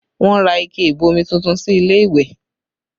Wọn ra ike ìbomi tuntun sí ilé ìwẹ̀